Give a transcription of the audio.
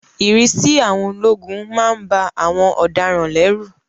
Ìrísí àwọn ológun má ń ba àwọn ọ̀daràn lẹ́rù